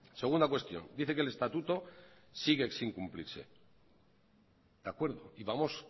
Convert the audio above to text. segunda cuestión dice que el estatuto sigue sin cumplirse de acuerdo y vamos